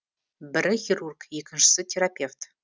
бірі хирург екіншісі терапевт